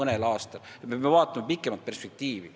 Nii et me peame vaatama pikemat perspektiivi.